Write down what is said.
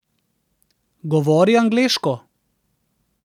Govori angleško.